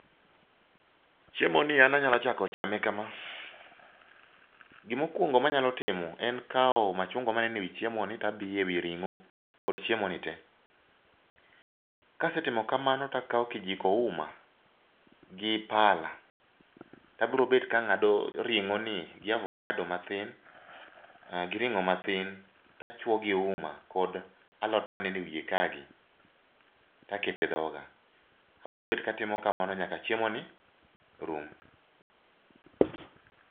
Chiemoni an anyalo chako chame kama. Gima okuongo manyalo timo en kawo machunga maneno ewi chiemoni to abiyo ewi ring'o kod chiemo ni tee. Kase timo kamano to akawo kijiko uma, gi pala to abiro bet ka ang'ado ring'oni gi abukado matin, gi ring'o matin tachuo gi uma kod alot maneno ewiye kaa gi, to aketo e dhoga. Abiro bet katimo kamano nyaka chiemo gi rum.